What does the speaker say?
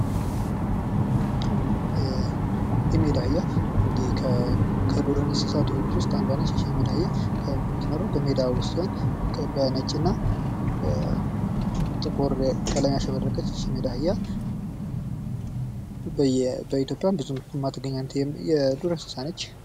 የሜዳ አህያ ፦ እንግዲህ ከዱር እንስሳቶች ውስጥ አንዷ ነች ። እቺ የሜዳ አህያ የምትኖረው በሜዳ ውስጥ ሲሆን በነጭና በጥቁር ቀለም ያሸበረቀች ነች እቺ የሜዳ አህያ ። በኢትዮጵያ ብዙም የማትገኝ የዱር እንስሳ ነች ።